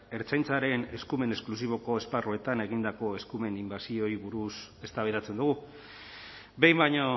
ertzaintzaren eskumen esklusiboko esparruetan egindako eskumen inbertsioei buruz eztabaidatzen dugu behin baino